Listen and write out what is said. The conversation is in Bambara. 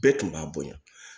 Bɛɛ tun b'a bonya